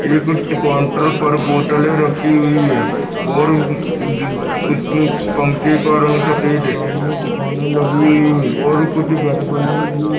एक काउंटर पर बोतले रखी हुई है और उस पंखे का रंग सफ़ेद है सामने दुकाने लगी हुई है और कुछ घर बने हुए ऐं --